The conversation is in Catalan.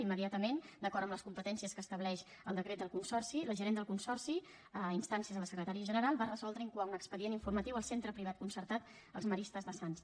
immediatament d’acord amb els competències que estableix el decret del consorci la gerent del consorci a instàncies de la secretària general va resoldre incoar un expedient informatiu al centre privat concertat els maristes de sants